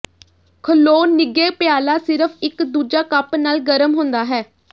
ਖਲੋ ਨਿੱਘੇ ਪਿਆਲਾ ਸਿਰਫ਼ ਇੱਕ ਦੂਜਾ ਕੱਪ ਨਾਲ ਗਰਮ ਹੁੰਦਾ ਹੈ